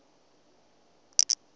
ravhududo